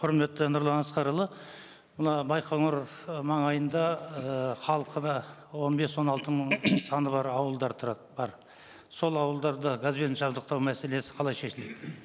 құрметті нұрлан асқарұлы мына байқоңыр ы маңайында ііі халқы да он бес он алты мың саны бар ауылдар тұрады бар сол ауылдарды газбен жабдықтау мәселесі қалай шешіледі